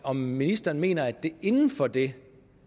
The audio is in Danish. om ministeren mener at det inden for det